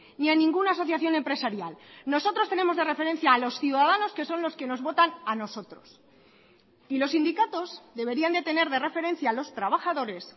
ni a ninguna asociación empresarial nosotros tenemos de referencia a los ciudadanos que son los que nos votan a nosotros y los sindicatos deberían de tener de referencia a los trabajadores